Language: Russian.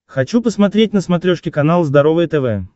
хочу посмотреть на смотрешке канал здоровое тв